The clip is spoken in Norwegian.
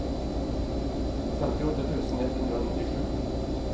femtiåtte tusen ett hundre og nittisju